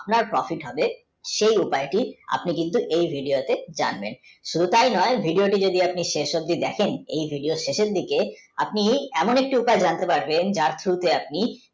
আপনার Profit হবে সেই উপায়টি আপনি কিন্তু এই video তে জানবেন শুধু তাই নয় video টি যদি আপনি শেষ অব্দি দেখেন এই video ও শেষের দিকে আপনি এমন একটি উপায় জানতে পারবেন যার শুরুতে আপনি